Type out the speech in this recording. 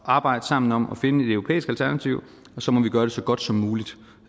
at arbejde sammen om at finde et europæisk alternativ og så må vi gøre det så godt som muligt